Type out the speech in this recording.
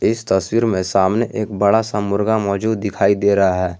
इस तस्वीर में सामने एक बड़ा सा मुर्गा मौजूद दिखाई दे रहा है।